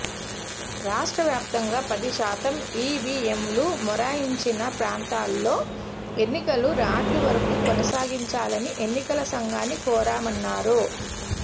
రాష్టవ్య్రాప్తంగా పది శాతం ఈవీఎంలు మొరాయించిన ప్రాంతాల్లో ఎన్నికలు రాత్రి వరకు కొనసాగించాలని ఎన్నికల సంఘాన్ని కోరామన్నారు